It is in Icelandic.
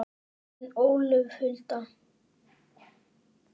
Þín, Ólöf Hulda.